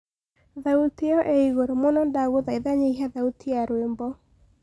thaũtĩ iyo i iguru muno ndagũthaĩtha nyĩhĩa thaũtĩ ya rwĩmbo